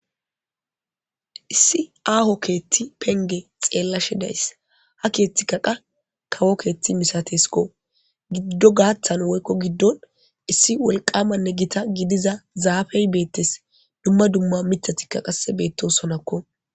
Issi aho kethi Penge xelashe dayisi ha kethikka kawo ketha misateskko gido gathan woyko gidon issi wolqamanne gita gidiza zafey betese dumma dumma mithati qase betosonakko